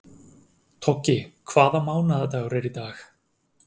Toggi, hvaða mánaðardagur er í dag?